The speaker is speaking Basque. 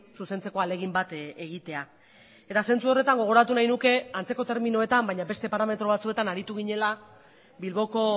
zuzentzeko ahalegin bat egitea eta zentzu horretan gogoratu nahi nuke antzeko terminoetan baina beste parametro batzuetan aritu ginela bilboko